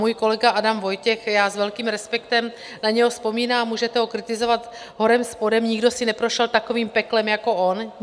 Můj kolega Adam Vojtěch, já s velkým respektem na něho vzpomínám, můžete ho kritizovat horem, spodem, nikdo si neprošel takovým peklem jako on.